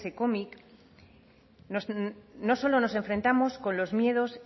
cómic no solo nos enfrentamos con los miedos